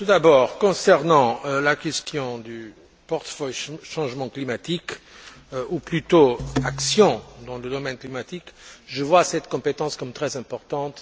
Tout d'abord, concernant la question du portefeuille Changement climatique, ou plutôt Action dans le domaine climatique, je vois cette compétence comme très importante.